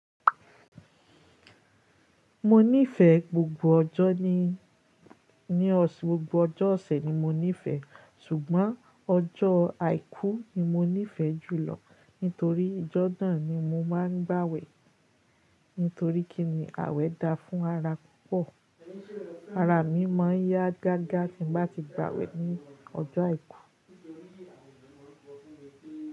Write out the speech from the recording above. Mo nífẹ̀ẹ́ gbogbo ọjọ́ ni, ní ọṣ gbogbo ọjọ́ ọ̀sẹ̀ ni mo nífẹ̀ẹ́. Ṣùgbọ́n ọjọ́ àìkú ni mo nífẹ̀ẹ́ jù lọ nítorí ìjọ́ nà ni mo máa ń gbàwẹ̀ nítorí kí ni àwẹ̀ da fún ara púpọ̀. Ara mi máa ń yá gágá tí n bá ti gbàwẹ̀ ní ọjọ́ àìkú.